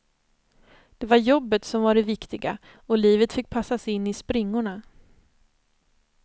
Det var jobbet som var det viktiga och livet fick passas in i springorna.